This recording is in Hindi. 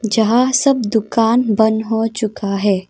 जहां सब दुकान बंद हो चुका है।